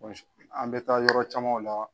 an mɛ taa yɔrɔ camanw la.